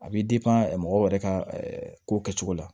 A bɛ mɔgɔw yɛrɛ ka ko kɛcogo la